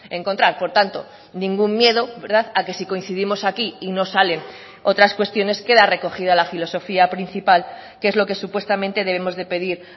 encontrar por tanto ningún miedo a que si coincidimos aquí y no salen otras cuestiones queda recogida la filosofía principal que es lo que supuestamente debemos de pedir